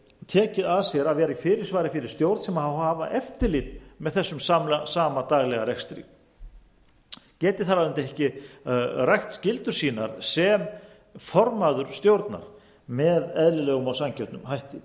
tekið að sér að vera í fyrirsvari fyrir stjórn sem á að hafa eftirlit með þessum sama daglega rekstri og geti þar af leiðandi ekki rækt skyldur sínar sem formaður stjórnar með eðlilegum og sanngjörnum hætti